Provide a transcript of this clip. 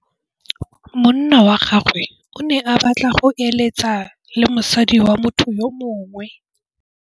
Monna wa gagwe o ne a batla go êlêtsa le mosadi wa motho yo mongwe.